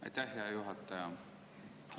Aitäh, hea juhataja!